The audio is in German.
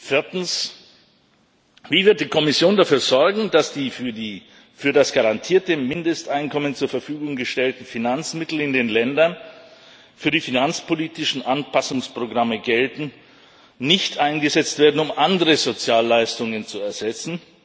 Viertens Wie wird die Kommission dafür sorgen, dass die für das garantierte Mindesteinkommen zur Verfügung gestellten Finanzmittel in den Ländern, für die finanzpolitische Anpassungsprogramme gelten, nicht eingesetzt werden, um andere Sozialleistungen zu ersetzen?